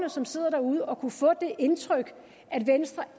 som sidder derude og kan få det indtryk at venstre